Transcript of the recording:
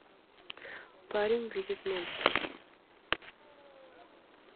парень видит монстров